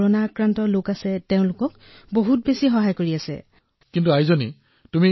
কৰোনাত আক্ৰান্ত লোকসকলক সহায় কৰি আছে ইমানবোৰ দেশৰ পৰা অক্সিজেন টেংকাৰ আনিছে কণ্টেইনাৰ আনিছে